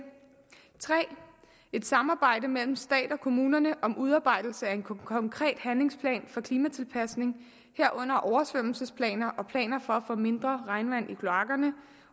et samarbejde mellem stat og kommuner om udarbejdelse af en konkret handlingsplan for klimatilpasning herunder oversvømmelsesplaner og planer for at få mindre regnvand i kloakkerne